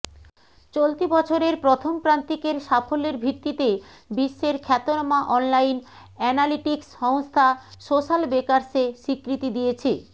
চলতি বছরের প্রথম প্রান্তিকের সাফল্যের ভিত্তিতে বিশ্বের খ্যাতনামা অনলাইন অ্যানালিটিকস সংস্থা সোশ্যালবেকার্স এ স্বীকৃতি দিয়েছে